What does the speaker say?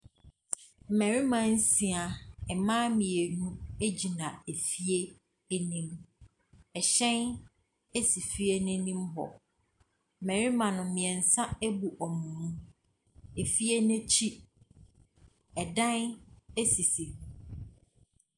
Mmarima nsia, mmaa mmienu gyina fie anim, hyɛn si fie n’anim hɔ. Mmarima no, mmiɛnsa abu wɔn mu. Fie n’akyi, dan sisi hɔ.